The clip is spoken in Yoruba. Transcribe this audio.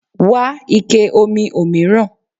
Wá ike omi òmíràn.